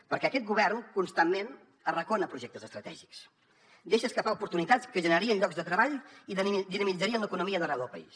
perquè aquest govern constantment arracona projectes estratègics deixa escapar oportunitats que generarien llocs de treball i dinamitzarien l’economia d’arreu del país